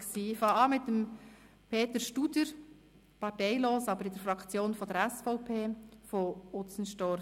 Ich beginne mit Peter Studer, parteilos, aber Mitglied der SVP-Fraktion, von Utzenstorf.